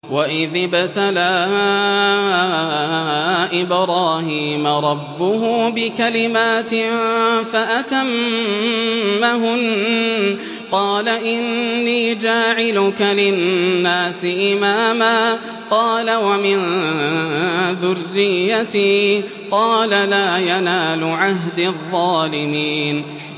۞ وَإِذِ ابْتَلَىٰ إِبْرَاهِيمَ رَبُّهُ بِكَلِمَاتٍ فَأَتَمَّهُنَّ ۖ قَالَ إِنِّي جَاعِلُكَ لِلنَّاسِ إِمَامًا ۖ قَالَ وَمِن ذُرِّيَّتِي ۖ قَالَ لَا يَنَالُ عَهْدِي الظَّالِمِينَ